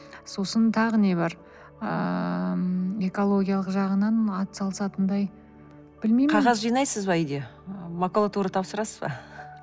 сосын тағы не бар ыыы экологиялық жағынан атсалысатындай білмеймін қағаз жинайсыз ба үйде макулатура тапсырасыз ба